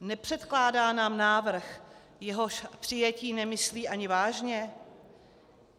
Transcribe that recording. Nepředkládá nám návrh, jehož přijetí nemyslí ani vážně?